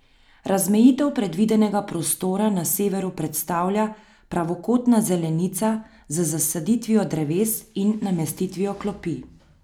Razmejitev predvidenega prostora na severu predstavlja pravokotna zelenica z zasaditvijo dreves in namestitvijo klopi.